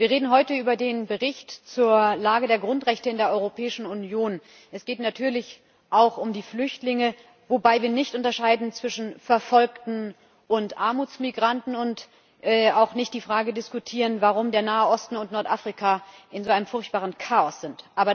Wir reden heute über den Bericht zur Lage der Grundrechte in der Europäischen Union. Es geht natürlich auch um die Flüchtlinge, wobei wir nicht unterscheiden zwischen Verfolgten und Armutsmigranten und auch nicht die Frage diskutieren, warum der Nahe Osten und Nordafrika in einem so furchtbaren Chaos sind.